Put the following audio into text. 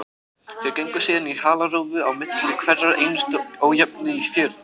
Þeir gengu síðan í halarófu á milli hverrar einustu ójöfnu í fjörunni.